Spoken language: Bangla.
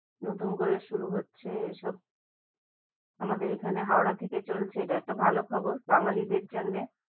নতুন করে শুরু হচ্ছে এইসব আমাদের এখানে হাওড়া থেকে চলছে এটা একটা ভালো খবর বাঙালি দের জন্যে